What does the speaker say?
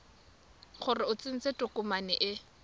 gore o tsentse tokomane e